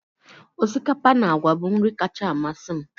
Osikapa na àgwà bụ nri kacha amasị m